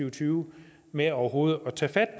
og tyve med overhovedet at tage